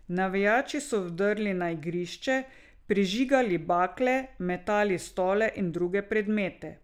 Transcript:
Navijači so vdrli na igrišče, prižigali bakle, metali stole in druge predmete.